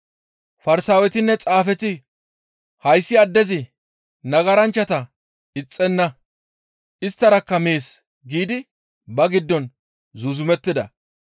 Farsaawetinne Xaafeti, «Hayssi addezi nagaranchchata ixxenna; isttarakka mees» giidi ba giddon zuuzumettida.